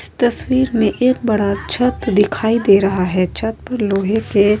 इस तस्वीर में एक बड़ा सा छत दिखाई दे रहा है। छत लोहे के --